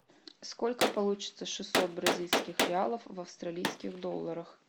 сколько получиться шестьсот бразильских реалов в австралийских долларах